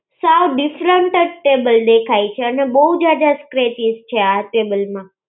સબ different જ table દેખાય છે અને બહુ જ્યાદા scratches છે આ table માં.